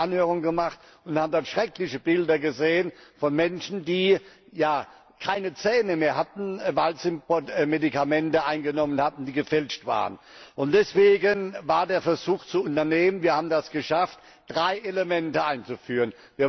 Wir hatten ja eine Anhörung gemacht und haben dabei schreckliche Bilder gesehen von Menschen, die keine Zähne mehr hatten, weil sie Medikamente eingenommen hatten, die gefälscht waren. Deswegen war der Versuch zu unternehmen, und wir haben es geschafft, drei Elemente einzuführen.